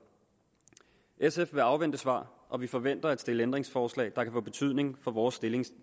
sf vil afvente svar og vi forventer at stille ændringsforslag der kan få betydning for vores stilling